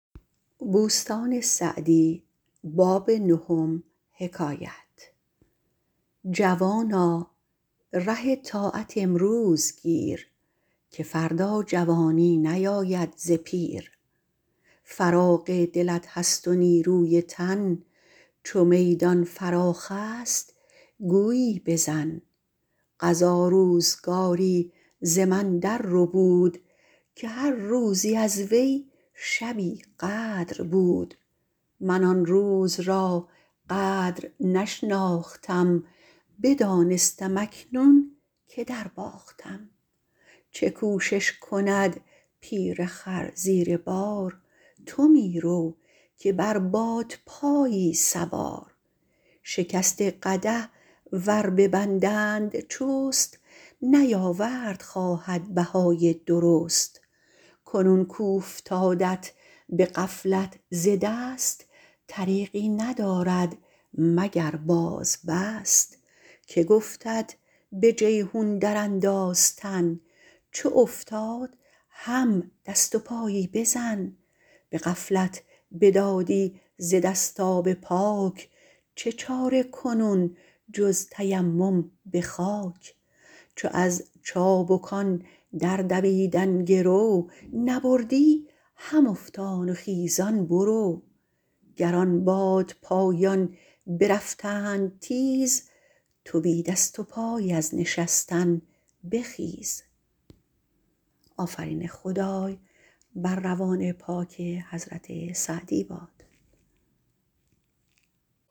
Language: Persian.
جوانا ره طاعت امروز گیر که فردا جوانی نیاید ز پیر فراغ دلت هست و نیروی تن چو میدان فراخ است گویی بزن قضا روزگاری ز من در ربود که هر روزی از وی شبی قدر بود من آن روز را قدر نشناختم بدانستم اکنون که در باختم چه کوشش کند پیر خر زیر بار تو می رو که بر بادپایی سوار شکسته قدح ور ببندند چست نیاورد خواهد بهای درست کنون کاوفتادت به غفلت ز دست طریقی ندارد مگر باز بست که گفتت به جیحون در انداز تن چو افتاد هم دست و پایی بزن به غفلت بدادی ز دست آب پاک چه چاره کنون جز تیمم به خاک چو از چابکان در دویدن گرو نبردی هم افتان و خیزان برو گر آن بادپایان برفتند تیز تو بی دست و پای از نشستن بخیز